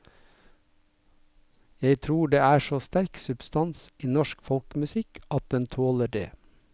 Jeg tror det er så sterk substans i norsk folkemusikk at den tåler det.